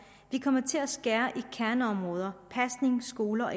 vi kommer til at skære i kerneområder pasning skole og